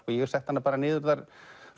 ég setti hana bara niður þar